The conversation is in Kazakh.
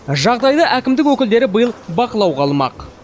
жағдайды әкімдік өкілдері биыл бақылауға алмақ